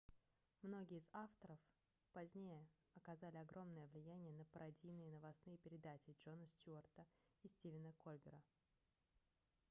многие из их авторов позднее оказали огромное влияние на пародийные новостные передачи джона стьюарта и стивена кольбера